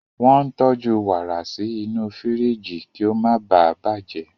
Wọ́n ń tọ́jú warà sí inú firiji kí ó má ​​baà bàjẹ́.